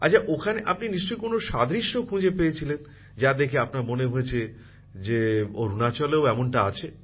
আচ্ছা ওখানে আপনি নিশ্চয়ই কোন সাদৃশ্য খুঁজে পেয়েছিলেন যা দেখে আপনার মনে হয়েছে যে অরুনাচলেও এমনটা আছে